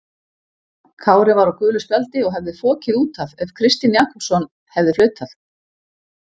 Kári var á gulu spjaldi og hefði fokið út af ef Kristinn Jakobsson hefði flautað.